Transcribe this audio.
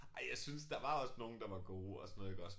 Ej jeg syntes der var også nogle der var gode og sådan noget iggås